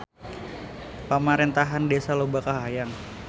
Pamarentahan Desa loba kahayang